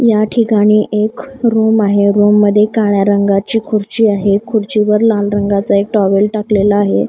या ठिकाणी एक रूम आहे रूम मध्ये काळया रंगाची खुर्ची आहे खुर्चीवर लाल रंगाचा एक टॉवेल टाकलेला आहे.